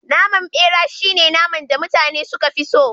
Naman bera shine naman da mutane suka fi so